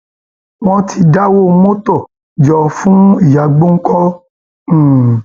wọn ti dáwọ mọtò jọ fún ìyá gbọǹkan um